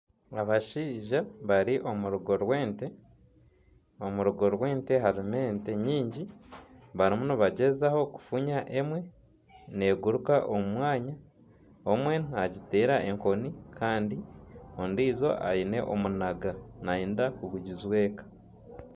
Abashaija bari omu rugo rw'ente. Omurugo rw'ente harimu ente nyingi barimu nibagyezaho kufunya emwe neguruka omu mwanya. Omwe nagiteera enkoni kandi ondiijo aine omunaga nayenda kugugijweka.